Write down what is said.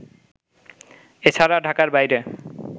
এ ছাড়া ঢাকার বাইরে